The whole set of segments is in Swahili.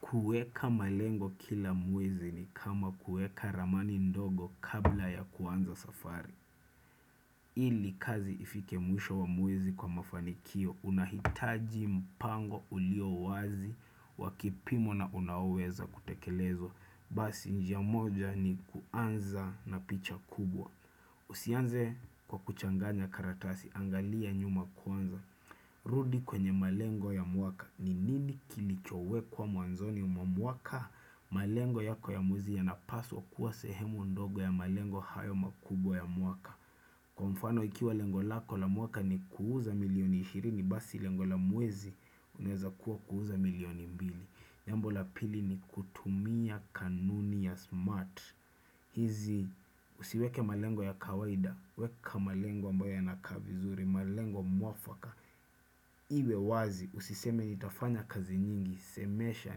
Kueka malengo kila mwezi ni kama kueka ramani ndogo kabla ya kuanza safari ili kazi ifike mwisho wa mwezi kwa mafanikio unahitaji mpango ulio wazi wa kipimo na una uwezo wa kutekelezwa Basi njia moja ni kuanza na picha kubwa Usianze kwa kuchanganya karatasi, angalia nyuma kuanza rudi kwenye malengo ya mwaka ni nini kilichowekwa mwanzoni mwa mwaka malengo yako ya mwezi yanapaswa kuwa sehemu ndogo ya malengo hayo makubwa ya mwaka Kwa mfano ikiwa lengo lako la mwaka ni kuuza milioni ishirini basi lengo la mwezi unaeza kuwa kuuza milioni mbili jambo la pili ni kutumia kanuni ya smart hizi usiweke malengo ya kawaida weka malengo ambayo yanakaa vizuri malengo mwafaka Iwe wazi usiseme nitafanya kazi nyingi semesha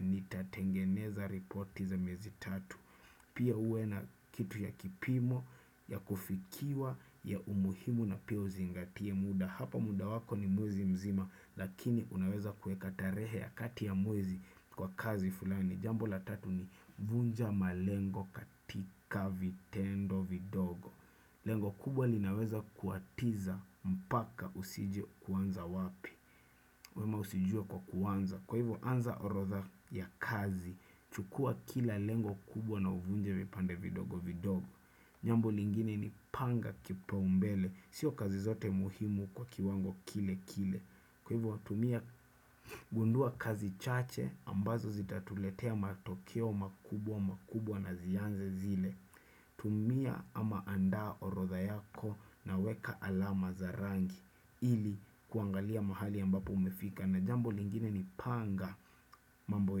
nitatengeneza ripoti za miezi tatu Pia uwe na kitu ya kipimo ya kufikiwa ya umuhimu na pia uzingatie muda Hapa muda wako ni mwezi mzima lakini unaweza kueka tarehe ya kati ya mwezi kwa kazi fulani Jambo la tatu ni vunja malengo katika vitendo vidogo Lengo kubwa linaweza kuatiza mpaka usije kuanza wapi wema usijue kwa kuanza. Kwa hivyo anza orodha ya kazi. Chukua kila lengo kubwa na uvunje vipande vidogo vidogo. Jambo lingine ni panga kipaumbele. Sio kazi zote muhimu kwa kiwango kile kile. Kwa hivyo tumia gundua kazi chache ambazo zitatuletea matokeo makubwa makubwa na zianze zile. Tumia ama andaa orodha yako na weka alama za rangi ili kuangalia mahali ambapo umefika na jambo lingine ni panga mambo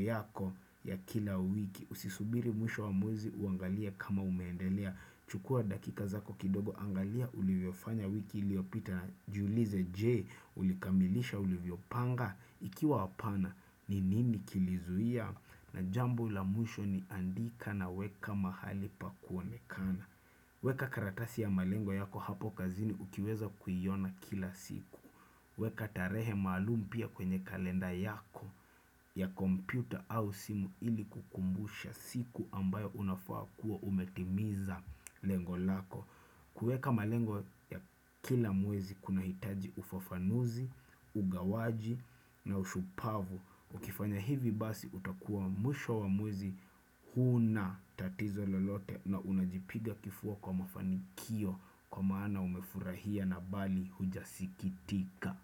yako ya kila wiki usisubiri mwisho wa mwezi uangalie kama umeendelea chukua dakika zako kidogo angalia ulivyo fanya wiki iliopita Julize je ulikamilisha ulivyopanga Ikiwa wapana ni nini kilizuia na jambo la mwisho ni andika na weka mahali pa kuonekana Weka karatasi ya malengo yako hapo kazini ukiweza kuiona kila siku. Weka tarehe maalum pia kwenye kalenda yako ya kompyuta au simu ili kukumbusha siku ambayo unafaa kuwa umetimiza lengo lako. Kueka malengo ya kila mwezi kunahitaji ufafanuzi, ugawaji na ushupavu. Ukifanya hivi basi utakuwa mwisho wa mwezi huna tatizo lolote na unajipiga kifua kwa mafanikio kwa maana umefurahia na bali hujasikitika.